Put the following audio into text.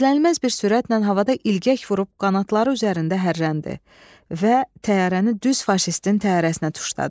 Gözlənilməz bir sürətlə havada ilgək vurub qanatları üzərində hərrəndi və təyyarəni düz faşistin təyyarəsinə tuşladı.